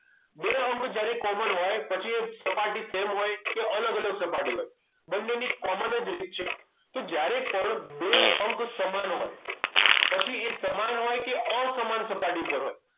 બે અંક જ્યારે common હોય પછી એ સપાટી same હોય કે અલગ અલગ સપાટી હોય બંનેની common જ રીત છે તો જ્યારે પણ બે અંક સમાન હોય પછી એ સમાન હોય કે અસમાન સપાટી ઉપર હોય